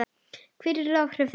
Hver yrðu áhrif þess?